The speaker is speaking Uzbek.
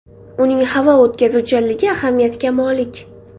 Uning havo o‘tkazuvchanligi ahamiyatga molik.